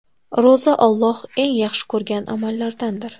Ro‘za Alloh eng yaxshi ko‘rgan amallardandir.